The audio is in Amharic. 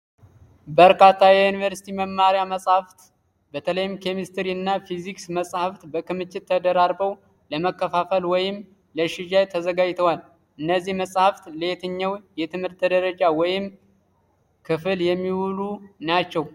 በርካታ የዩኒቨርሲቲ መማሪያ መጽሐፍት፣ በተለይም ኬሚስትሪ እና ፊዚክስ መጻሕፍት፣ በክምችት ተደራርበው ለማከፋፈል ወይም ለሽያጭ ተዘጋጅተዋል። እነዚህ መጻሕፍት ለየትኛው የትምህርት ደረጃ ወይም ክፍል የሚውሉ ናቸው?